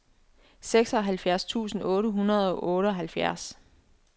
seksoghalvfjerds tusind otte hundrede og otteoghalvfems